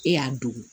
E y'a don